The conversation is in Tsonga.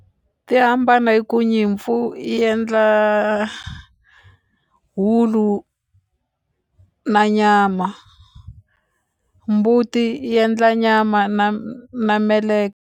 Ti hambana hi ku nyimpfu i endla wulu na nyama mbuti yi endla nyama na na .